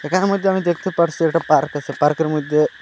তার মধ্যে আমি দেখতে পারসি একটা পার্ক আসে পার্কের মইধ্যে--